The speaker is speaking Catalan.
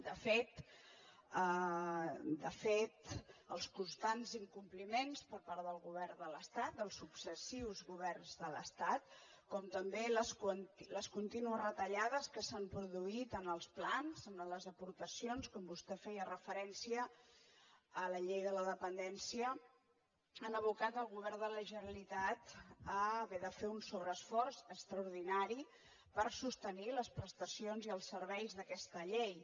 de fet de fet els constants incompliments per part del govern de l’estat dels successius governs de l’estat com també les contínues retallades que s’han produït en els plans en les aportacions com vostè feia referència a la llei de la dependència han abocat el govern de la generalitat a haver de fer un sobreesforç extraordinari per sostenir les prestacions i els serveis d’aquesta llei